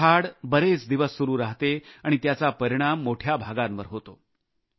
टोळधाड बरेच दिवस सुरु राहते आणि त्याचा परिणाम मोठ्या भागावर होतो